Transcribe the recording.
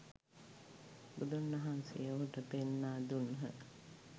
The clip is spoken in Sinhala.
බුදුන් වහන්සේ ඔහුට පෙන්වා දුන්හ.